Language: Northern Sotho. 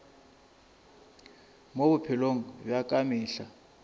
mo bophelong bja ka mehla